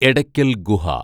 Edakkal‍ Guha